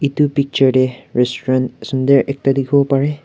edu picture tae restaurant sunder ekta dikhiwo parae.